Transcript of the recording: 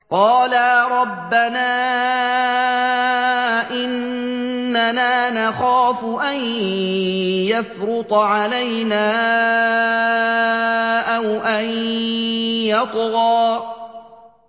قَالَا رَبَّنَا إِنَّنَا نَخَافُ أَن يَفْرُطَ عَلَيْنَا أَوْ أَن يَطْغَىٰ